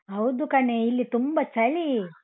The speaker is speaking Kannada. ಹೌದು ಕಣೆ ಇಲ್ಲಿ ತುಂಬ ಚಳಿ.